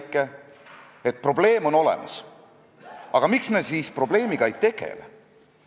" Ma arvan, et me peaksime vaatama nende risustajate poole, kes toovad meie ametlikesse dokumentidesse, ütleme, mitteilusat eesti keelt ja slängi.